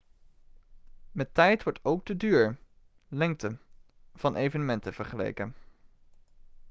met tijd wordt ook de duur lengte van evenementen vergeleken